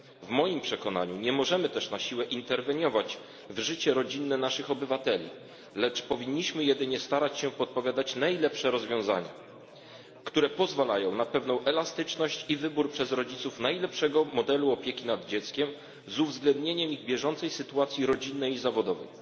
W moim przekonaniu nie możemy też na siłę interweniować w życie rodzinne naszych obywateli, lecz powinniśmy jedynie starać się podpowiadać najlepsze rozwiązania, które pozwalają na pewną elastyczność i wybór przez rodziców najwłaściwszego modelu opieki nad dzieckiem z uwzględnieniem ich bieżącej sytuacji rodzinnej i zawodowej.